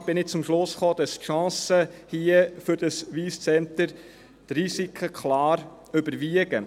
Insgesamt bin ich zum Schluss gekommen, dass die Chancen für das Wyss Centre die Risiken klar überwiegen.